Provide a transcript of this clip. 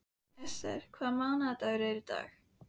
Esther, hvaða mánaðardagur er í dag?